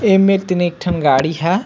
एमेर तीन एक ठी गाड़ी ह--